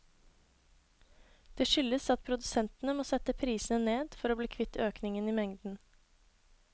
Det skyldes at produsentene må sette prisene ned for å bli kvitt økningen i mengden.